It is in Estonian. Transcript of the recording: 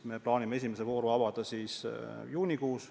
Me plaanime esimese vooru avada juunikuus.